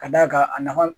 Ka d'a kan a nafa